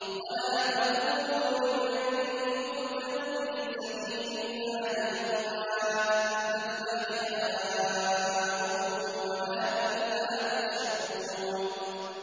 وَلَا تَقُولُوا لِمَن يُقْتَلُ فِي سَبِيلِ اللَّهِ أَمْوَاتٌ ۚ بَلْ أَحْيَاءٌ وَلَٰكِن لَّا تَشْعُرُونَ